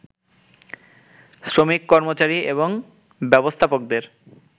শ্রমিক-কর্মচারী এবং ব্যবস্থাপকদের